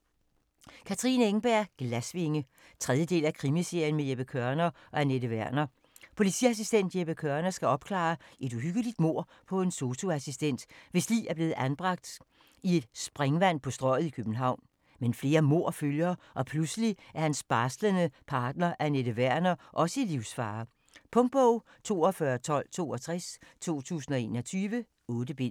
Engberg, Katrine: Glasvinge 3. del af krimiserien med Jeppe Kørner og Anette Werner. Politiassistent Jeppe Kørner skal opklare et uhyggeligt mord på en sosu-assistent, hvis lig er blevet anbragt i et springvang på Strøget i København. Men flere mord følger, og pludselig er hans barslende partner, Anette Werner, også i livsfare. Punktbog 421262 2021. 8 bind.